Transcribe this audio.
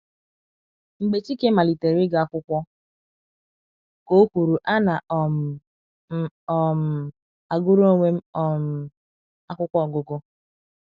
“ Mgbe chike malitere ịga akwụkwọ, ” ka o kwuru, “ ana um m um agụrụ onwe m um akwụkwọ ọgụgụ.